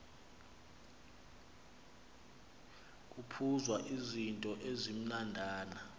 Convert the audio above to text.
kuphuzwa izityo ezimnandana